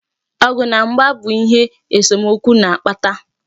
Ọgụ na mgba bu ihe esomokwu na-akpata.